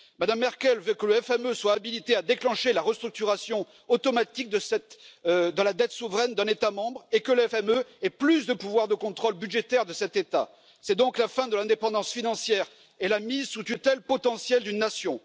Mme Merkel veut que le FME soit habilité à déclencher la restructuration automatique de la dette souveraine d'un État membre et que le FME ait plus de pouvoir de contrôle budgétaire de cet État. C'est donc la fin de l'indépendance financière et la mise sous tutelle potentielle d'une nation.